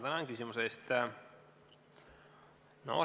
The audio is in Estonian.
Tänan küsimuse eest!